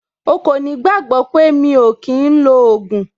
O kò ní gbàgbọ́ pé mi ò kí ń lo ògùn.